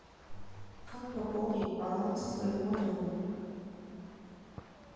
как пополнить баланс своего номера